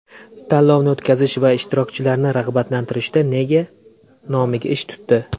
Tanlovni o‘tkazish va ishtirokchilarni rag‘batlantirishda nega nomiga ish tutdi?